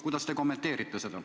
Kuidas te seda kommenteerite?